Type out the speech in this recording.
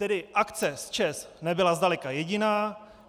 Tedy akce s ČEZ nebyla zdaleka jediná.